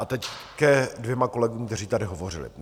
A teď ke dvěma kolegům, kteří tady hovořili.